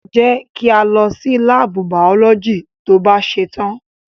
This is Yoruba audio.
Jẹ́ kí a lọ sí láàbù biology to bá ṣetán.